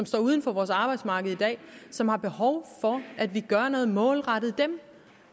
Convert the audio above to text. står uden for vores arbejdsmarked som har behov for at vi gør noget målrettet